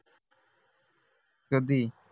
कधी